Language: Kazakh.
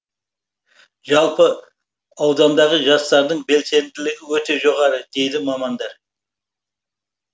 жалпы аудандағы жастардың белсенділігі өте жоғары дейді мамандар